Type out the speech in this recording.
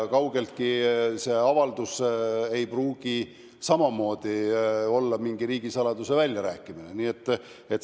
Kaugeltki ei pruugi see avaldus samamoodi olla mingi riigisaladuse väljarääkimine.